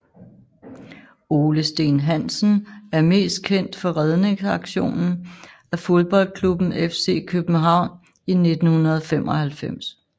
Ole Steen Hansen er mest kendt for redningsaktionen af fodboldklubben FC København i 1995